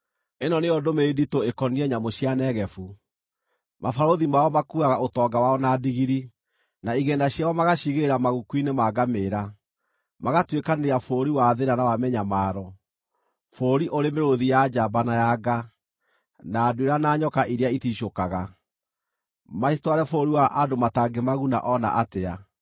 Ĩno nĩyo ndũmĩrĩri nditũ ĩkoniĩ nyamũ cia Negevu: Mabarũthi mao makuuaga ũtonga wao na ndigiri, na igĩĩna ciao magaaciigĩrĩra maguku-inĩ ma ngamĩĩra, magatuĩkanĩria bũrũri wa thĩĩna na wa mĩnyamaro, bũrũri ũrĩ mĩrũũthi ya njamba na ya nga, na nduĩra na nyoka iria ĩticũkaga, macitware bũrũri wa andũ matangĩmaguna o na atĩa.